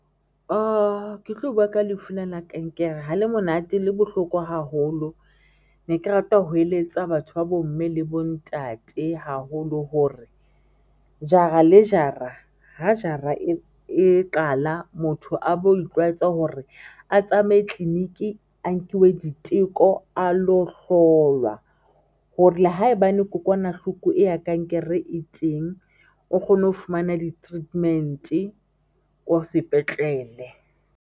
Ke tlo bua ka lefu lena la kankere, ha le monate le bohlokwa haholo. Ne ke rata ho eletsa batho ba bo mme le bo ntate haholo hore jara le jara, ha jara e e qala motho a bo itlwaetsa hore a tsamaye clinic a nkiwe diteko a lo hlolwa hore haebane kokwanahloko e ya kankere e teng o kgone ho fumana di treatment ko sepetlele.